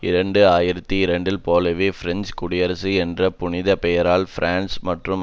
இரண்டு ஆயிரத்தி இரண்டில் போலவே பிரெஞ்சு குடியரசு என்ற புனித பெயரால் பிரான்ஸ் மற்றும்